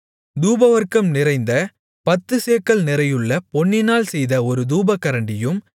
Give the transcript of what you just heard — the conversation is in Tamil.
தூபவர்க்கம் நிறைந்த பத்துச்சேக்கல் நிறையுள்ள பொன்னினால் செய்த ஒரு தூபகரண்டியும்